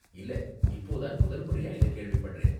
இல்ல, இப்போ தான் முதல் முறையா இத கேள்விப்படறேன்!